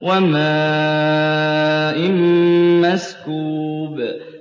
وَمَاءٍ مَّسْكُوبٍ